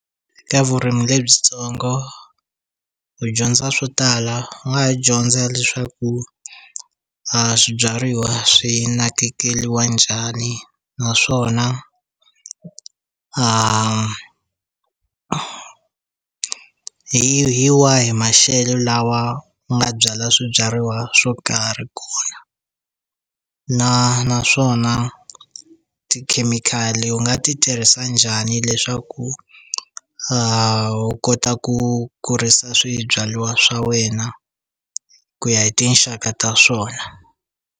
Eka vurimi lebyitsongo u dyondza swo tala u nga dyondza leswaku a swibyariwa swi nakekeliwa njhani naswona hi hi wa hi maxele lawa ku nga byala swibyariwa swo karhi kona na naswona tikhemikhali u nga ti tirhisa njhani leswaku u kota ku kurisa swibyaliwa swa wena ku ya hi tinxaka ta swona.